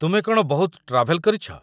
ତୁମେ କ'ଣ ବହୁତ ଟ୍ରାଭେଲ୍ କରିଛ ?